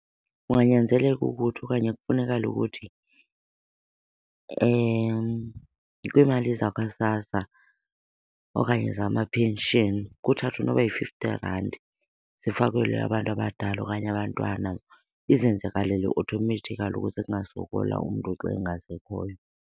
Kunganyanzeleka ukuthi okanye kufunekale ukuthi kwiimali zakwaSASSA okanye zama-pension kuthathwe noba yi-fifty rand zifakelwe abantu abadala okanye abantwana. Izenzakalele automatically ukuze zingasokolwa umntu xa engasekhoyo.